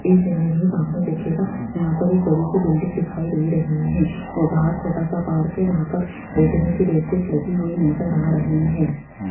इस इमेज में सामने देखिएगा यहां पर एक बड़ी सी बिल्डिंग दिखाई दे रही है और बाहर छोटा सा पार्क है जहां पर बैठने की बेंचेज लगी हुई नज़र आ रही है।